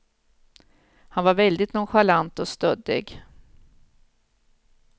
Han var väldigt nonchalant och stöddig.